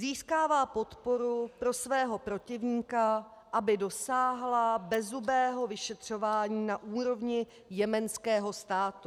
Získává podporu pro svého protivníka, aby dosáhla bezzubého vyšetřování na úrovni jemenského státu.